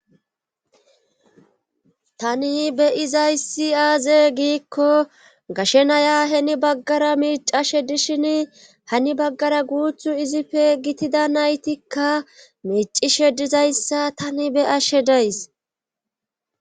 tani beyizayssi aaze giikko gashe naya heni baggara miicashe dishin hani baggara guuthu izife gitida naytikka miicishe dizayssa tani beyashe days.